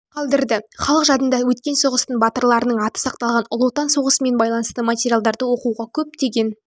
қалдырды халық жадында өткен соғыстың батырларының аты сақталған ұлы отан соғысымен байланысты материалдарды оқуға көптеген